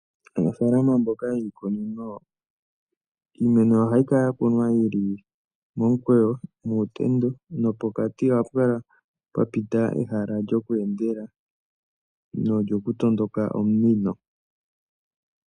Aanafalama mboka yiikunini, iimeno ohayi kala yakunwa yili momukweyo, muutendo, nopokati ohapu kala pwapita ehala lyoku endela, nolyoku tondoka omunino.